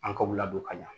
An ka u ladon ka ɲɛ